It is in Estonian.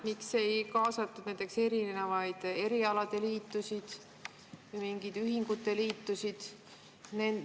Miks ei kaasatud näiteks erinevaid erialaliitusid, mingeid ühingute liitusid?